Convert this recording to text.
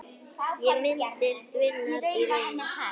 Ég minnist vinar í raun.